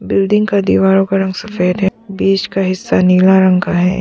Building का दीवारों का रंग सफेद है बीच का हिस्सा नीला रंग का है।